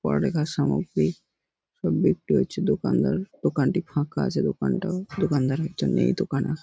পড়া লেখার সামগ্রী সব বিক্রি হচ্ছে দোকানদার দোকানটি ফাঁকা আছে দোকানটাও দোকানদার একজন মেয়ে দকানা--